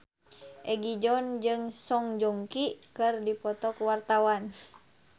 Egi John jeung Song Joong Ki keur dipoto ku wartawan